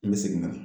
N bɛ segin ka na